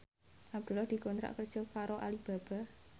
Abdullah dikontrak kerja karo Alibaba